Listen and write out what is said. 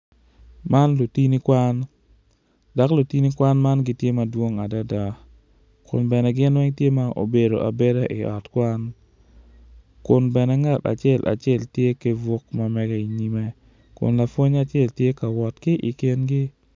Man lutini kwan dok lutini kwan man gitye madwong adada kun bene gin weng tye m aobedo abeda i ot kwan kun bene ngate acel acel tye ki buk ma mege inyime kun lapwony acel tye ka wot ki i kingi.